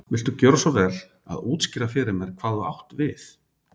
Viltu gjöra svo vel að útskýra fyrir mér hvað þú átt við.